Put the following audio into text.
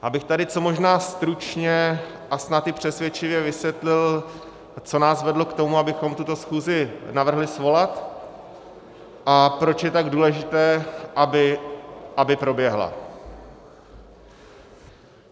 Abych tady co možná stručně a snad i přesvědčivě vysvětlil, co nás vedlo k tomu, abychom tuto schůzi navrhli svolat, a proč je tak důležité, aby proběhla.